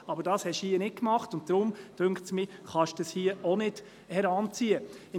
Aber das haben Sie hier nicht gemacht, und deshalb finde ich, dass Sie dies hier nicht heranziehen können.